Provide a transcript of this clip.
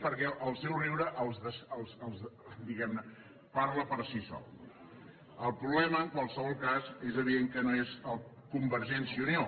perquè el seu riure diguem ne parla per si sol no el problema en qualsevol cas és evident que no és convergència i unió